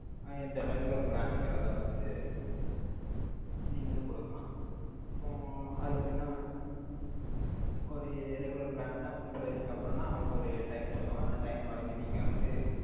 அஹ் இந்த regular plan ங்கிறதை வந்து, நீங்க வந்து கொடுக்கலாம். இப்போ, அது எப்படின்னா, ஒரு regular plan ன்னா, முப்பது வயசுக்கு அப்புறம்ன்னா, அவங்களுக்கு ஒரு time சொல்லுவோம். அந்த time வரைக்கும், நீங்க வந்து,